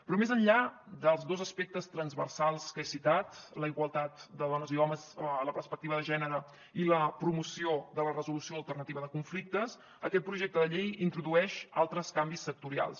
però més enllà dels dos aspectes transversals que he citat la igualtat de dones i homes la perspectiva de gènere i la promoció de la resolució alternativa de conflictes aquest projecte de llei introdueix altres canvis sectorials